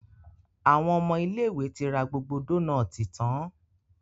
Àwọn ọmọ ilé ìwé tí ra gbogbo Dónáátì tán.